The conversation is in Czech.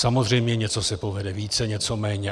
Samozřejmě něco se povede více, něco méně.